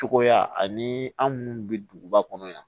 Cogoya ani anw munnu bɛ duguba kɔnɔ yan